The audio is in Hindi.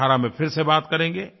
अब 2018 में फिर से बात करेंगे